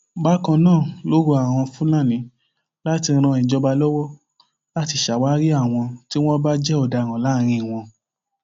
bákan náà ló rọ àwọn fúlàní láti ran ìjọba lọwọ láti ṣàwárí àwọn tí wọn bá jẹ ọdaràn láàárín wọn